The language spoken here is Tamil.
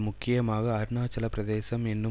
முக்கியமாக அருணாச்சல பிரதேசம் என்னும்